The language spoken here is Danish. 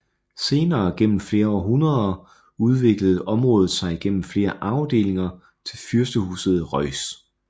Senere gennem flere århundereder udviklede området sig gennem flere arvedelinger til fyrstehuset Reuß